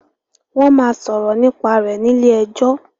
Wón má sòrò nípa rẹ ní ilé ejó